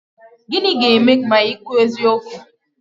Gịnị ga-eme ma ị kwuo eziokwu?